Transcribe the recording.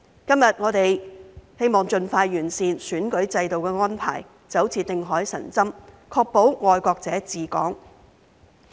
今天，我們希望盡快完善選舉制度安排，就像定海神針，確保"愛國者治港"。